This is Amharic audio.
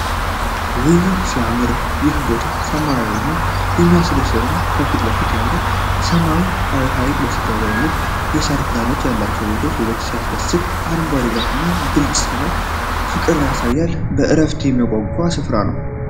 ውይ! ሲያምር! ይህ ቦታ ሰላማዊ እና የሚያስደስት ነው። ከፊት ለፊት ያለው ሰማያዊ ሐይቅና ከበስተጀርባ ያሉት የሳር ክዳን ያላቸው ቤቶች ውበቱ ሲያስደንቅ። አረንጓዴው ዛፍ እና ግልጽ ሰማይ ፍቅርን ያሳያሉ። ለእረፍት የሚያጓጓ ስፍራ ነው!